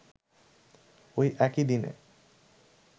ঐ একই দিনে